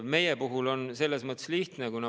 Meil on selles mõttes lihtne.